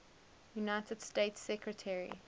united states secretary